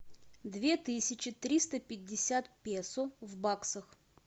две тысячи триста пятьдесят песо в баксах